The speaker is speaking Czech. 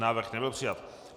Návrh nebyl přijat.